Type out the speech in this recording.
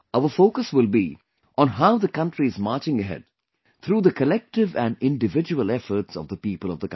Our focus will be on how the country is marching ahead through the collective and individual efforts of the people of the country